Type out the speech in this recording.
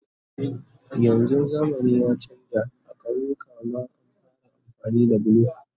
yanzun zamani ya chanza a kauyuka ma an fara amfani da bulo